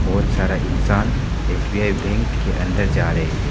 बहुत सारा इंसान एस_बी_आई बैंक के अंदर जा रहे है।